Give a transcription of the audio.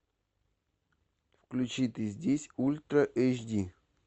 включи ты здесь ультра эйч ди